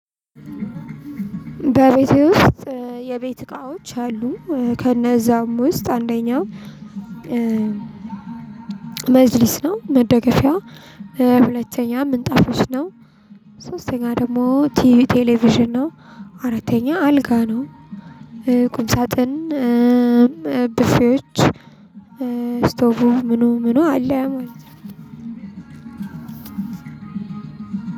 በቤቴ ውስጥ የቤት እቃዎች አሉ። ከነዛም ውስጥ አንደኛው መጅሊስ ነው መደገፊያ። ሁለተኛ ምንጣፎች ነው። ሶስተኛ ደግሞ ቲ ቴሌቪዥን ነው። አራተኛ አልጋ ነው። ቁም ሳጥን ብፌዎች ስቶቡ ምኑ ምኑ አለ ማለት ነው።